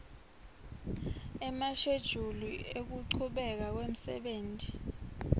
emashejuli ekuchubeka kwemsebenti